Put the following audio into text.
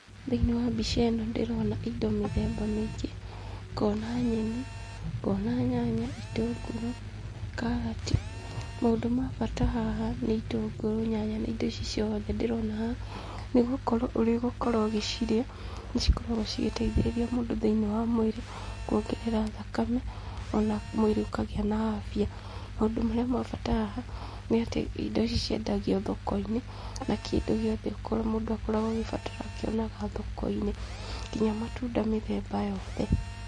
Thĩinĩ wa mbica ĩno ndĩrona indo mĩthemba mĩingĩ, ngona nyeni, ngona nyanya, itũngũrũ, kaarati. Maũndũ ma bata haha nĩ itũngũrũ, nyanya na indo ici ciothe ndĩrona haha, nĩgũkorwo ũrĩgũkorwo ũgĩcirĩa, nĩ cikoragwo cigĩteithĩrĩria mũndũ thĩinĩ wa mwĩrĩ kuongerera thakame, ona mwĩrĩ ũkagĩa na afya. Maũndũ marĩa ma bata haha, nĩ atĩ indo ici ciendagio thoko-inĩ, na kĩndũ gĩothe kĩrĩa mũndũ akoragwo agĩbatara akĩonaga thoko-inĩ, nginya matunda mĩthemba yothe.